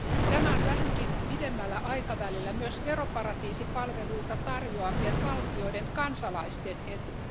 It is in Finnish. Tämä on vähänkin pidemmällä aikavälillä myös veroparatiisipalveluita tarjoavien valtioiden kansalaisten etu.